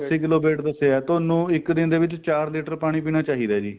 ਅੱਸੀ kilo weight ਦੱਸਿਆ ਤੁਹਾਨੂੰ ਇੱਕ ਦਿਨ ਦੇ ਵਿੱਚ ਚਾਰ litter ਪਾਣੀ ਪੀਣਾ ਚਾਹੀਦਾ ਜੀ